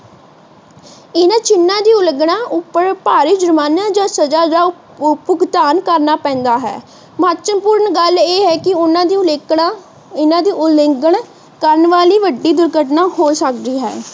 ਇਹਨਾਂ ਚਿਨਾ ਦੀ ਉਲੰਘਣਾ ਉੱਪਰ ਭਾਰੀ ਜ਼ੁਰਮਾਨਾ ਜਾਂ ਸਜ਼ਾ ਜਾਂ ਭੁਗਤਾਨ ਕਰਨਾ ਪੈਂਦਾ ਹੈ। ਮਹੱਤਵਪੂਰਨ ਗੱਲ ਇਹ ਹੈ ਕਿ ਇਹਨਾਂ ਦੀ ਉਲੰਘਣਾ ਕਰਨ ਵਾਲੀ ਵੱਡੀ ਦੁਰਘਟਨਾ ਹੋ ਸਕਦੀ ਹੈ।